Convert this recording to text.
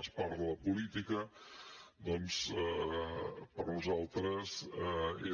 es parla de política doncs per nosaltres